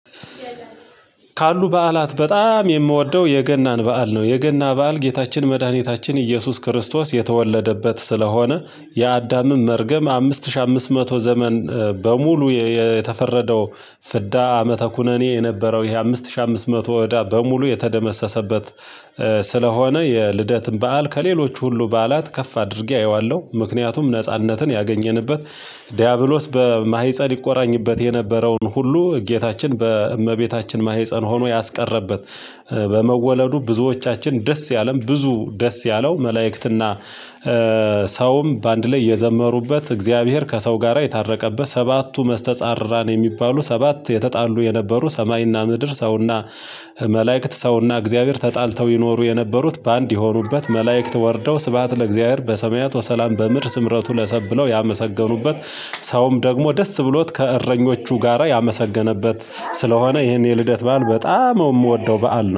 ካሉ በዓላት በጣም የምወደው የገናን በዓል ነው። የገና በዓል ጌታችን መድኃኒታችን ኢየሱስ ክርስቶስ የተወለደበት ስለሆነ የአዳምም መርገም አምስት ሺህ አምስት መቶ ዘመን በሙሉ የተፈረደው ፍዳ ዓመተ ኩነኔ የነበረው ይሄ አምስት ሺህ አምስት መቶ እዳ በሙሉ የተደመሰሰበት ስለሆነ የልደትን በዓል ከሌሎች ሁሉ በዓላት ከፍ አድርጌ አየዋለሁ። ምክንያቱም ነጻነትን ያገኘንበት ዲያብሎስ በማህጸን ይቆራኝበት የነበረውን ሁሉ ጌታችን በእመቤታችን ማህፀን ሆኖ ያስቀረበት በመወለዱ ብዙዎቻችን ደስ ያለን ብዙ ደስ ያለው መላእክትና ሰውም በአንድ ላይ የዘመሩበት፣ እግዚአብሔር ከሰው ጋራ የታረቀበት፣ ሰባቱ መስተጻርራን ነው የሚባሉ ሰባት የተጣሉ የነበሩ ሰማይና ምድር ሰውና መላእክት ሰውና እግዚአብሔር ተጣልተው ይኖሩ የነበሩት በአንድ የሆኑበት፣ መላእክት ወርደው ስብሃት ለእግዚአብሔር በሰማያት ወሰላም በምድር ስምረቱ ለሰብ ብለው ያመሰገኑበት፣ ሰውም ደግሞ ደስ ብሎት ከእረኞቹ ጋራ ያመሰገነበት ስለሆነ ይሄን የልደት በዓል በጣም የምወደው በዓል ነው።